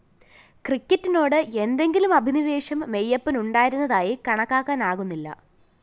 ക്രിക്കറ്റിനോട് എന്തെങ്കിലും അഭിനിവേശം മെയ്യപ്പനുണ്ടായിരുന്നതായി കണക്കാക്കാനാകുന്നില്ല